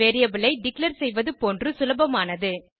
variable ஐ declare செய்வது போன்று சுலபமானது